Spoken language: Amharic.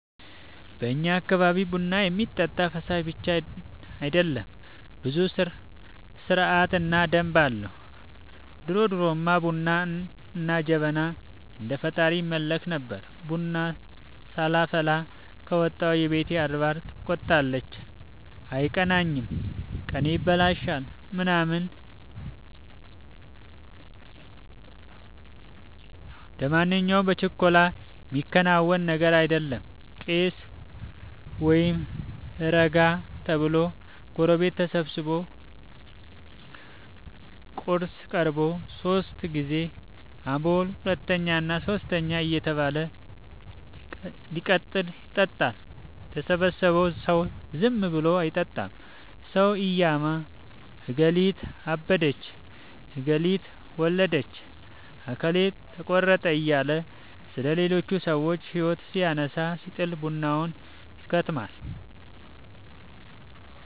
በእኛ አካባቢ ቡና የሚጠጣ ፈሳሽ ብቻ አይደለም ብዙ ስረዓት እና ደንብ አለው። ድሮድሮማ ቡና እና ጀበና እንደ ፈጣሪ ይመለክበት ነበር። ቡና ሳላፈላ ከወጣሁ የቤቴ አድባር ትቆጣለች አይቀናኝም። ቀኔ ይበላሻል ምናምን ደማንኛው በችኮላ የሚከናወን ነገር አይደለም ቀስ(እረጋ) ተብሎ ጎረቤት ተሰብስቦ ቁርስ ቀርቦ ሶስት ግዜ(አቦል፣ ሁለተኛ እና ሶስተኛ) እየተባለ እቲቀጥን ይጠጣል። የተሰበሰበው ሰው ዝም ብሎ አይጠጣም ሰው እያማ አገሊት አበደች ገሊት ወለደች አከሌ ጠቆረ እያለ ስለሌቹች ሰዎች ህይወት ሲያነሳ ሲጥል ቡናው ይከትማል።